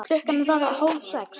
Klukkan varð hálf sex.